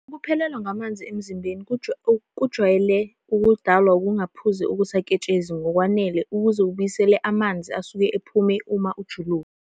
Ukuphelelwa ngamanzi emzimbeni kujwayele ukudalwa ukungaphuzi okusaketshezi ngokwanele ukuze ubuyisele amanzi asuke ephume uma ujuluka.